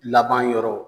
Laban yɔrɔ